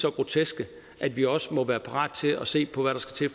så groteske at vi også må være parate til at se på hvad der skal